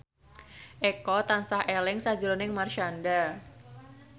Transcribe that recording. Eko tansah eling sakjroning Marshanda